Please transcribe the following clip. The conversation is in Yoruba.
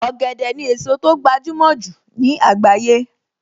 Ọ̀gẹ̀dẹ̀ ni èso tó gbajúmọ̀ jù ní àgbáyé